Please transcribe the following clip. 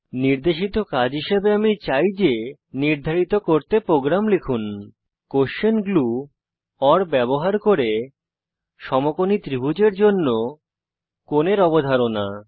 নির্দেশিত কাজ হিসাবে আমি চাই যে নির্ধারিত করতে প্রোগ্রাম লিখুন কোস্বেন গ্লু ওর ব্যবহার করে সমকোণী ত্রিভুজের জন্য কোণের অবধারণা